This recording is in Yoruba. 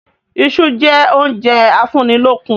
Iṣu jẹ oúnjẹ a fún í lókun